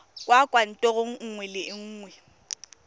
kwa kantorong nngwe le nngwe